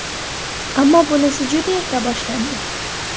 Ammo bunisi juda erta boshlandi.